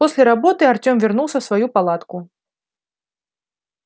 после работы артём вернулся в свою палатку